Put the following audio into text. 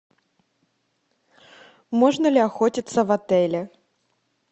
можно ли охотиться в отеле